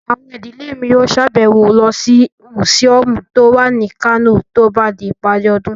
Àwọn ìdílé mi yóò sàbẹ̀wo lọ sí mùsíọ̀mù tó wà ní Kano tó bá di ìparí ọdún